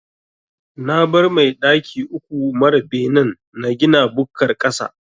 Na bar mai daki uku mara benen na gina bukkar ƙasa.